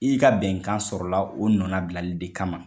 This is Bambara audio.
I ka bɛnkan sɔrɔla o nɔnabilali de kama.